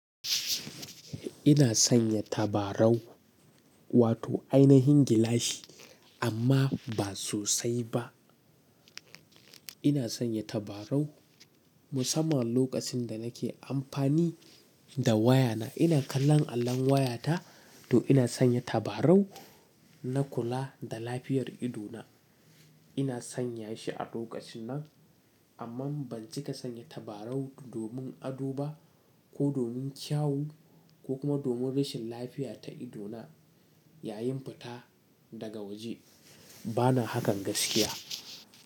Ina sanya tabarau, wato ainihin gilashi amma ba sosai ba. Ina sanya tabarau musamman lokacin da nake amfani da wayana. Ina kallon allon wayata, to ina sanya tabarau na kula da lafiyar idona. Ina sanya shi a lokacin nan, amma ban cika sanya tabarau domin ado ba ko domin kyawu ko kuma domin rashin lafiya ta ido na yayin fita daga waje. Bana hakan gaskiya.